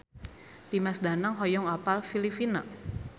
Dimas Danang hoyong apal Filipina